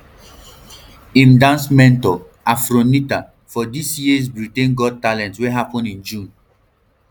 im dance mentor afronitaa for dis year britains got talent wey happun in june